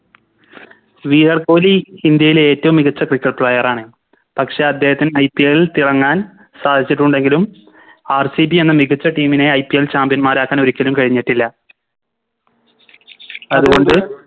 വിരാട്ട് കോഹ്ലി ഇന്ത്യയിലെ ഏറ്റവും മികച്ച Cricket player ആണ് പക്ഷെ അദ്ദേഹത്തിന് IPL തിളങ്ങാൻ സാധിച്ചിട്ടുണ്ടെങ്കിലും RCB എന്ന മികച്ച Team നെ IPLChampion മാരാക്കാൻ ഒരിക്കലും കഴിഞ്ഞിട്ടില്ല അതുകൊണ്ട്